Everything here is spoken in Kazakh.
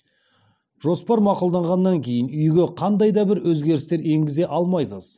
жоспар мақұлданғаннан кейін үйге қандай да бір өзгерістер енгізе алмайсыз